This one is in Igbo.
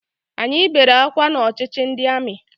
Anyị bere akwa n'ọchịchị ndị amị